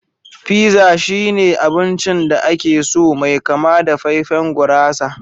Pizza shine abincin da ake so mai kama da faifain gurasa